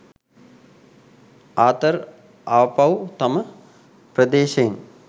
Arthur ආපහු තම ප්‍රදේශයෙන්